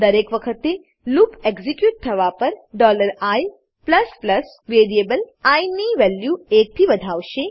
દરેક વખતે loop execute થવા પર i વેરીએબલ આઇ ની વેલ્યુ એકથી વધાવશે